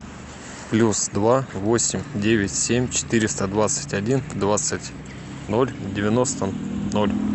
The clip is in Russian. плюс два восемь девять семь четыреста двадцать один двадцать ноль девяносто ноль